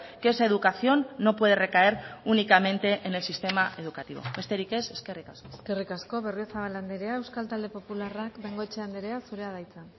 que esa educación no puede recaer únicamente en el sistema educativo besterik ez eskerrik asko eskerrik asko berriozabal andrea euskal talde popularrak bengoechea andrea zurea da hitza